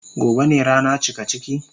Gobe ne rana cikaciki.